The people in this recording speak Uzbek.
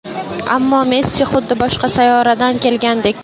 Ammo Messi – xuddi boshqa sayyoradan kelgandek.